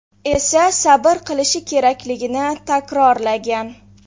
esa sabr qilishi kerakligini takrorlagan.